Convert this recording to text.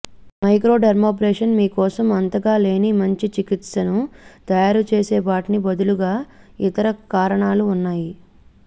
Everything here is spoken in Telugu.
మైక్రోడెర్మాబ్రేషన్ మీ కోసం అంతగా లేని మంచి చికిత్సను తయారుచేసే వాటికి బదులుగా ఇతర కారణాలు ఉన్నాయి